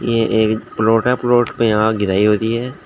ये एक प्लॉट है। प्लॉट पे यहां गिलहरी बैठी है।